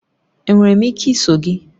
Enwere m ike iso gị?